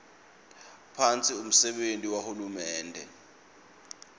phasi umsebenti wahulumende